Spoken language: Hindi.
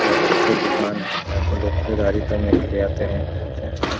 और अच्छे दुकान है यहाँ पर लोग खरीददारी करने आते हैं ।